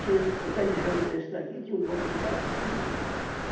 Tinha um pé de jambo desse daqui, tinha um banco debaixo assim, né?